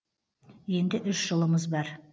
енді үш жылымыз бар